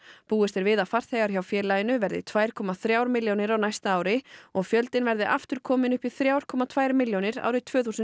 búist er við að farþegar hjá félaginu verði tvær koma þrjár milljónir á næsta ári og fjöldinn verði aftur kominn upp í þrjár komma tvær milljónir árið tvö þúsund